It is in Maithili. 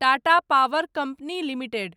Tata power company limited